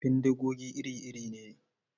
Bindigogi iri-iri ne.